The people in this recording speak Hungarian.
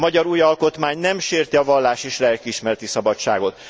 A magyar új alkotmány nem sérti a vallás és lelkiismereti szabadságot.